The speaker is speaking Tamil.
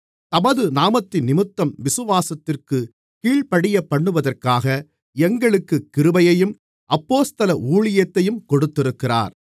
தமது நாமத்தினிமித்தம் விசுவாசத்திற்குக் கீழ்ப்படியப்பண்ணுவதற்காக எங்களுக்குக் கிருபையையும் அப்போஸ்தல ஊழியத்தையும் கொடுத்திருக்கிறார்